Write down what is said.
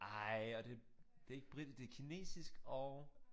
Ej og det det ikke britisk det kinesisk og